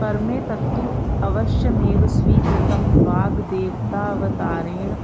परमेतत्तु अवश्यमेव स्वीकृतं वाग्देवतावतारेण